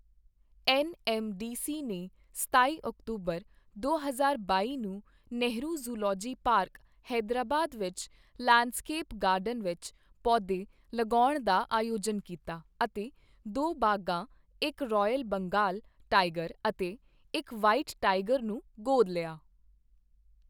N M D C ਨੇ ਸਤਾਈ ਅਕਤੂਬਰ, ਦੋ ਹਜ਼ਾਰ ਬਾਈ ਨੂੰ ਨੇਹਿਰੂ ਜੂਲੌਜਿਕਲ ਪਾਰਕ, ਹੈਦਰਾਬਾਦ ਵਿੱਚ ਲੈਂਡਸਕੇਪ ਗਾਰਡਨ ਵਿੱਚ ਪੌਦੇ ਲਗਾਉਣ ਦਾ ਆਯੋਜਨ ਕੀਤਾ ਅਤੇ ਦੋ ਬਾਘਾਂ ਇੱਕ ਰੌਇਲ ਬੰਗਾਲ ਟਾਈਗਰ ਅਤੇ ਇੱਕ ਵ੍ਹਾਈਟ ਟਾਈਗਰ ਨੂੰ ਗੋਦ ਲਿਆ।